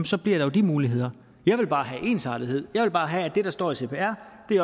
så bliver der jo de muligheder jeg vil bare have ensartethed jeg vil bare have at det der står i cpr